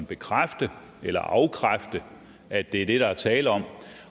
bekræfte eller afkræfte at det er det der er tale om